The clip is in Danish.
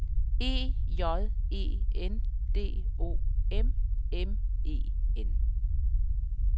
E J E N D O M M E N